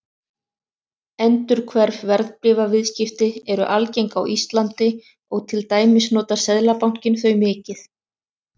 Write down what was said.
Endurhverf verðbréfaviðskipti eru algeng á Íslandi og til dæmis notar Seðlabankinn þau mikið.